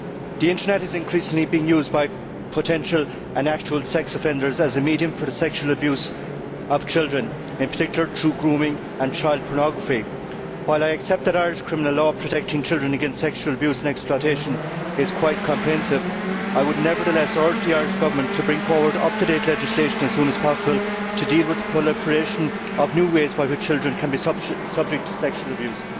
The Internet is increasingly being used by potential and actual sex offenders as a medium for the sexual abuse of children, in particular, through grooming and child pornography. While I accept that Irish criminal law protecting children against sexual abuse and exploitation is quite comprehensive, I would, nevertheless, urge the Irish Government to bring forward up to date legislation as soon as possible to deal with the proliferation of new ways by which children can be subject to sexual abuse.